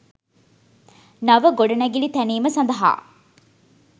නව ගොඩනැගිලි තැනීම සඳහා